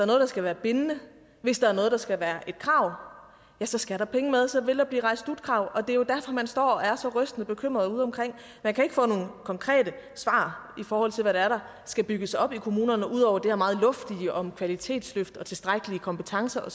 noget der skal være bindende hvis der er noget der skal være et krav så skal der penge med så vil der blive rejst slutkrav og det er jo derfor man står og er så rystende bekymret udeomkring man kan ikke få nogle konkrete svar i forhold til hvad det er der skal bygges op i kommunerne ud over det her meget luftige om kvalitetsløft og tilstrækkelige kompetencer